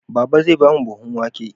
Baba zai ba mu buhun wake